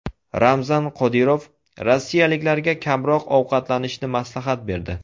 Ramzan Qodirov rossiyaliklarga kamroq ovqatlanishni maslahat berdi.